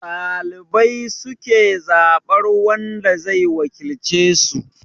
Dalibai su ke zabar wanda zai wakilce su